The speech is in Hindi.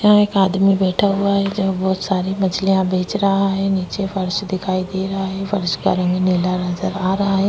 यहा एक आदमी बैठा हुआ है जो बहुत सारी मछलिया बेच रहा है नीचे फर्श दिखाई दे रहा है फर्श का रंग निला नजर आ रहा है।